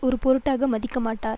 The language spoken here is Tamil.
ஒரு பொருட்டாக மதிக்கமாட்டார்